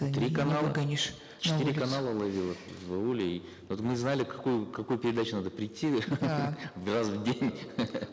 три канала выгонишь четыре канала ловило в ауле и вот мы знали какую какую передачу надо прийти раз в день